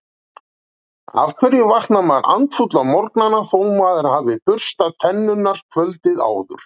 Af hverju vaknar maður andfúll á morgnana þó maður hafi burstað tennurnar kvöldið áður?